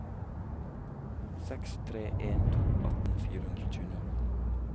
seks tre en to atten fire hundre og tjueni